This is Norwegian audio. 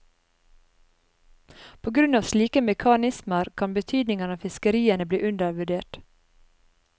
På grunn av slike mekanismer kan betydningen av fiskeriene bli undervurdert.